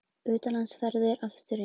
Utanlandsferðir aftur inn